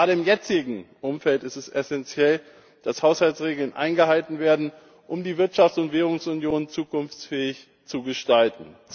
Gerade im jetzigen Umfeld ist es essenziell, dass Haushaltsregeln eingehalten werden, um die Wirtschafts und Währungsunion zukunftsfähig zu gestalten.